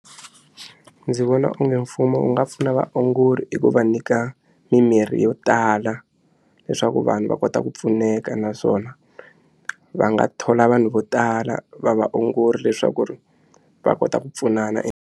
Ndzi vona onge mfumo wu nga pfuna vaongori hi ku va nyika mimirhi yo tala leswaku vanhu va kota ku pfuneka naswona va nga thola vanhu vo tala va va ongori leswaku ri va kota ku pfunana.